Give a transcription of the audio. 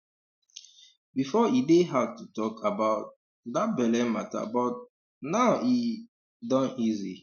before e dey hard to talk about um that belle matter but um now e um don easy